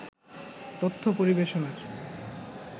তথ্য পরিবেশনার